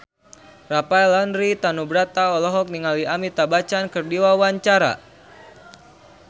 Rafael Landry Tanubrata olohok ningali Amitabh Bachchan keur diwawancara